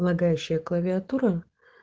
лагающая клавиатура